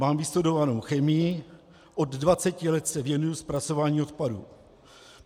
Mám vystudovanou chemii, od 20 let se věnuji zpracování odpadů.